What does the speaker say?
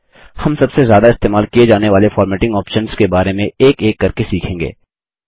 हम सबसे ज्यादा इस्तेमाल किये जाने वाले फ़ॉर्मेटिंग ऑप्शन्स के बारे में एक एक करके सीखेंगे